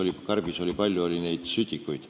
Need, mida karbis on palju, on sütikud.